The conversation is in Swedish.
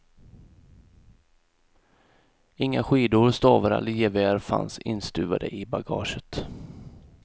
Inga skidor, stavar eller gevär fanns instuvade i bagaget.